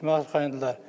Kim arxalandılar?